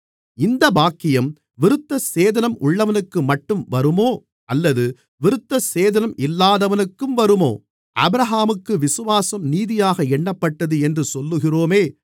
இந்தப் பாக்கியம் விருத்தசேதனம் உள்ளவனுக்குமட்டும் வருமோ அல்லது விருத்தசேதனம் இல்லாதவனுக்கும் வருமோ ஆபிரகாமுக்கு விசுவாசம் நீதியாக எண்ணப்பட்டது என்று சொல்லுகிறோமே